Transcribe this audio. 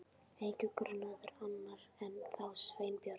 Enginn grunaður, annar en þá Sveinbjörn?